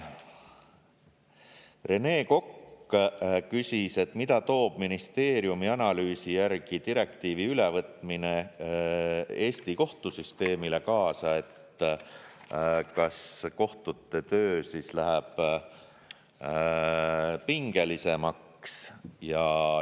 Rene Kokk küsis, et mida toob ministeeriumi analüüsi järgi direktiivi ülevõtmine Eesti kohtusüsteemile kaasa, kas kohtute töö läheb pingelisemaks.